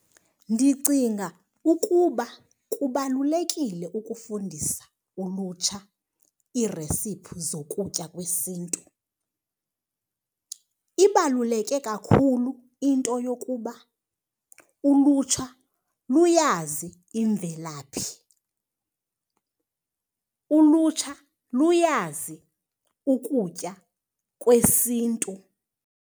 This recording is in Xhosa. Ndicinga ukuba kubalulekile ukufundisa ulutsha iiresiphi zokutya kwesiNtu. Ibaluleke kakhulu into yokuba ulutsha luyazi imvelaphi, ulutsha luyazi ukutya kwesiNtu.